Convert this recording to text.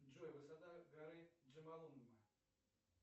джой высота горы джомолунгма